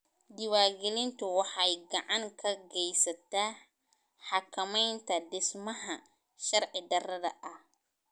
Diiwaangelintu waxay gacan ka geysataa xakamaynta dhismaha sharci darrada ah.